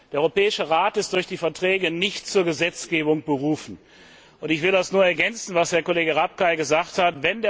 Der Europäische Rat ist durch die Verträge nicht zur Gesetzgebung berufen. Ich will nur ergänzen, was Herr Kollege Rapkay gesagt hat.